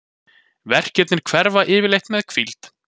Verkirnir hverfa yfirleitt við hvíld.